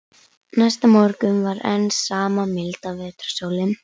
Næsta morgun var enn sama milda vetrarsólin.